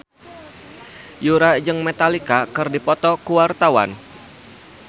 Yura jeung Metallica keur dipoto ku wartawan